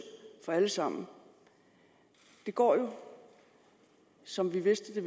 for dem alle sammen det går jo som vi vidste